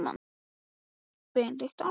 Hann öskraði eins hátt og hann gat.